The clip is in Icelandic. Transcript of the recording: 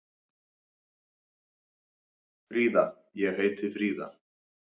Fríða: Ég heiti Fríða.